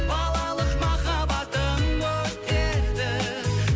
балалық махаббатым өтеді